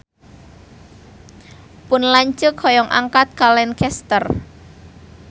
Pun lanceuk hoyong angkat ka Lancaster